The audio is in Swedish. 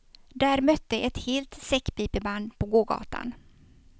Där mötte ett helt säckpipeband på gågatan.